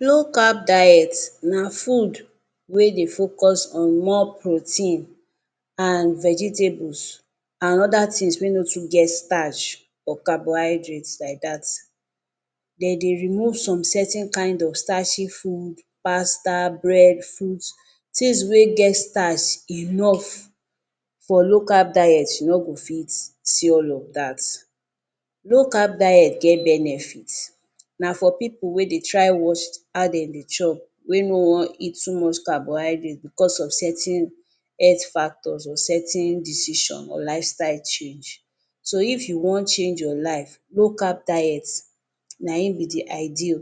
Low Carb diet na food wey dey focus on more protein and vegetables and oda tins wey no too get starch or carbohydrates like dat dem dey remove some certain kain of starchy foods, pasta, bread, foods tins wey get starch enough for low carb diet you no go fit see all of dat. Low carb diet get benefits, na for pipu wey dey try watch how dem dey chop, wey no wan eat too much carbohydrates bicos certain health factor or certain decision or lifestyle change. So if you wan change your life, low Carb diet na im be di ideal